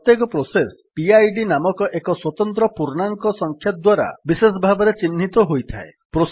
ପ୍ରତ୍ୟେକ process PID ନାମକ ଏକ ସ୍ୱତନ୍ତ୍ର ପୂର୍ଣ୍ଣାଙ୍କ ସଂଖ୍ୟା ଦ୍ୱାରା ବିଶେଷ ଭାବରେ ଚିହ୍ନିତ ହୋଇଥାଏ